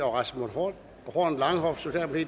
og rasmus horn horn langhoff